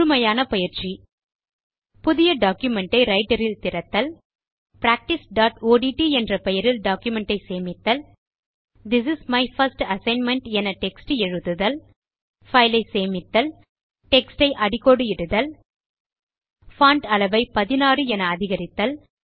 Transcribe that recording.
முழுமையான பயிற்சி புதிய டாக்குமென்ட் ஐ ரைட்டர் இல் திறத்தல் practiceஒட்ட் என்ற பெயரில் டாக்குமென்ட் ஐ சேமித்தல் this is my first assignment என டெக்ஸ்ட் எழுதுதல் பைல் ஐ சேமித்தல் டெக்ஸ்ட் ஐ அடிக்கோடு இடுதல் பான்ட் அளவை 16 என அதிகரித்தல்